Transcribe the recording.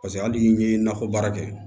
Paseke hali n'i ye nakɔ baara kɛ